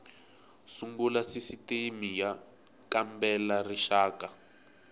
sungula sisitimi y kambela rixaka